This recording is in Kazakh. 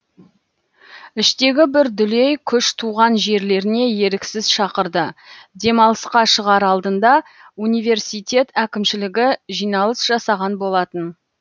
іштегі бір дүлей күш туған жерлеріне еріксіз шақырды демалысқа шығар алдында университет әкімшілігі жиналыс жасаған болатын